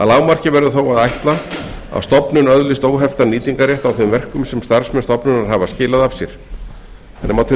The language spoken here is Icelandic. lágmarki verður þó að ætla að stofnun öðlist óheftan nýtingarrétt á þeim verkum sem starfsmenn stofnunar hafa skilað af sér þannig má til